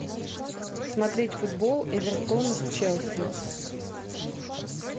смотреть футбол эвертона с челси